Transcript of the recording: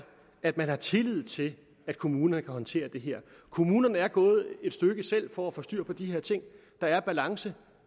at man har tillid til at kommunerne kan håndtere det her kommunerne er gået et stykke selv for at få styr på de her ting der er balance